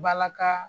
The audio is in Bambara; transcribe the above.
Balaka